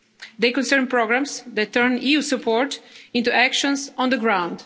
other negotiations. They concern programmes that turn EU support into actions